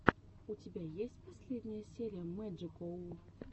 у тебя есть последняя серия мэджикоу